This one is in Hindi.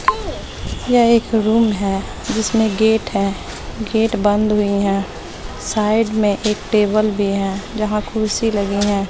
यह एक रूम है जिसमें गेट है गेट बंद हुई है साइड में एक टेबल भी है जहां कुर्सी लगी है।